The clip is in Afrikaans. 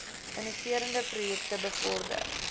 innoverende projekte bevorder